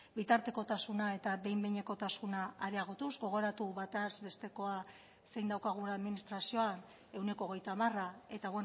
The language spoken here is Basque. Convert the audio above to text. bitartekotasuna eta behin behinekotasuna areagotuz gogoratu bataz bestekoa zein daukagun administrazioan ehuneko hogeita hamara eta